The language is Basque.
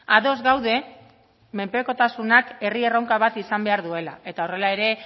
ados gaude menpekotasunak herri erronka bat izan behar duela eta horrela ere